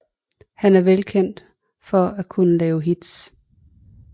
Han er velkendt for at kunne lave hits